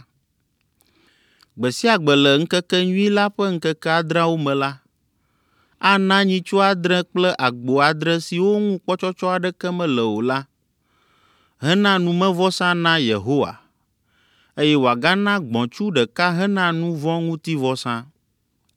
Gbe sia gbe le ŋkekenyui la ƒe ŋkeke adreawo me la, ana nyitsu adre kple agbo adre siwo ŋu kpɔtsɔtsɔ aɖeke mele o la, hena numevɔsa na Yehowa, eye wòagana gbɔ̃tsu ɖeka hena nu vɔ̃ ŋuti vɔsa.